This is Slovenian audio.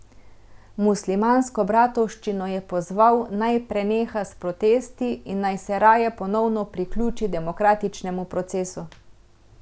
Muslimansko bratovščino je pozval, naj preneha s protesti in naj se raje ponovno priključi demokratičnemu procesu.